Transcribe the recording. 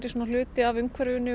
hluti af umhverfinu